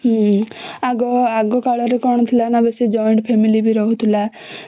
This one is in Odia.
ହୁଁ ଆଗ ଆଗ କାଳରେ କଣ ଥିଲା ନା ବେଶୀ joint family ବି ରହୁଥିଲା